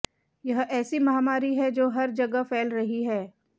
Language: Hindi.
यह ऐसी महामारी है जो हर जगह फैल रही है